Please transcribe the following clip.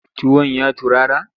Tuwon ya turara?